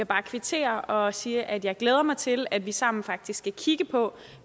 bare kvittere og sige at jeg glæder mig til at vi sammen faktisk skal kigge på